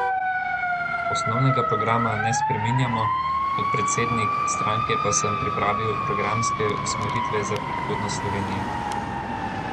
Osnovnega programa ne spreminjamo, kot predsednik stranke pa sem pripravil programske usmeritve za prihodnost Slovenije.